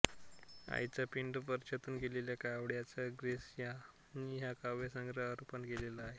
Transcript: आईचा पिंड स्पर्शून गेलेल्या कावळ्याला ग्रेस यांनी हा काव्यसंग्रह अर्पण केलेला आहे